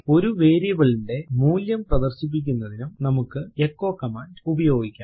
ഒരു വേരിയബിൾ ന്റെ മൂല്യം പ്രദർശിപ്പിക്കുന്നതിനും നമുക്ക് എച്ചോ കമാൻഡ് ഉപയോഗിക്കാം